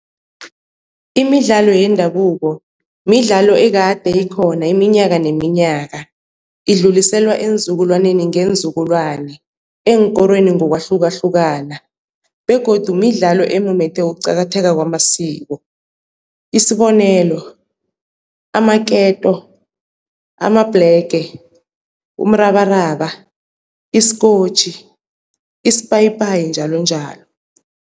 Imidlalo yendabuko midlalo ekade ikhona iminyaka neminyaka, idluliselwa eenzukulwaneni ngeenzukulwana eenkorweni ngokwahlukahlukana begodu midlalo emumethe ukuqakatheka kwamasiko, isibonelo amaketo, amabhlege, umrabaraba, isikotjhi, isipayipayi njalonjalo.